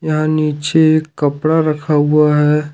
यहां नीचे एक कपड़ा रखा हुआ है।